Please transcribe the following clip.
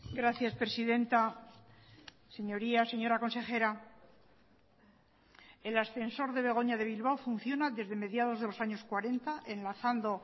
gracias presidenta señorías señora consejera el ascensor de begoña de bilbao funciona desde mediados de los años cuarenta enlazando